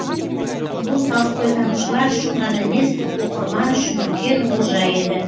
бұл толстойтанушылар үшін ғана емес оқырман үшін үлкен олжа еді